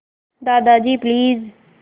Dadaji please